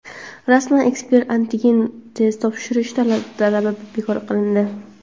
Rasman ekspress-antigen test topshirish talabi bekor qilindi.